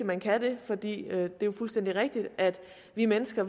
man kan det for det er jo fuldstændig rigtigt at vi mennesker